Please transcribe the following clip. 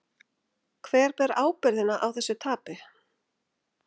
Hver ber ábyrgðina á þessu tapi?